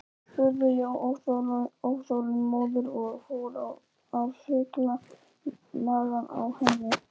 spurði ég óþolinmóður og fór að þukla magann á henni.